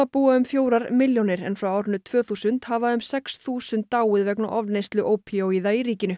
búa um fjórar milljónir en frá árinu tvö þúsund hafa um sex þúsund dáið vegna ofneyslu ópíóíða í ríkinu